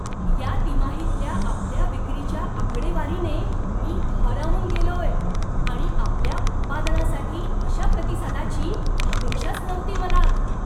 या तिमाहीतल्या आपल्या विक्रीच्या आकडेवारीने मी भारावून गेलोय आणि आपल्या उत्पादनासाठी अशा प्रतिसादाची अपेक्षाच नव्हती मला.